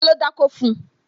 Ta ló dákó fun?